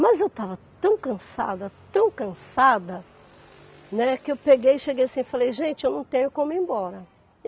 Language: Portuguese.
Mas eu estava tão cansada, tão cansada, né, que eu peguei e cheguei assim e falei, gente, eu não tenho como ir embora.